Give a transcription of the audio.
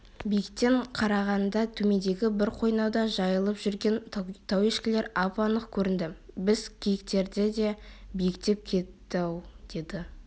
биіктен қарағанда төмендегі бір қойнауда жайылып жүрген тауешкілер ап-анық көрінді біз киіктерден де биіктеп кеттік-ау деді